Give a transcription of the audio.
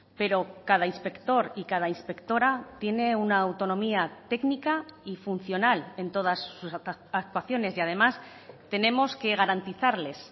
pero cada inspector y cada inspectora tiene una autonomía técnica y funcional en todas sus actuaciones y además tenemos que garantizarles